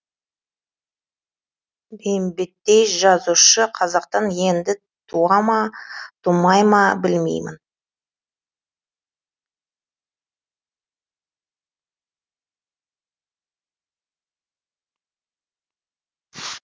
бейімбеттей жазушы қазақтан енді туа ма тумай ма білмеймін